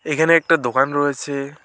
এখানে একটা দোকান রয়েছে।